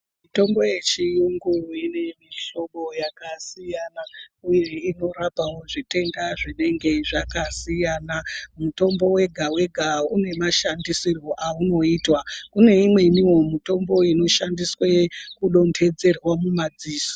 Tombo yechiyungu ine mihlobo yakasiyana uye inorapawo zvitenda zvinenge zvakasiyana mutombo wega wega une mashandisiro aunoitwa kune imweniwo mitombo inoshandiswe kudontedzerwa mumadziso.